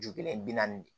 Ju kelen bi naani de